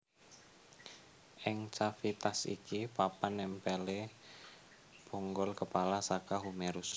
Ing cavitas iki papan nèmpèlé bonggol kepala saka humerus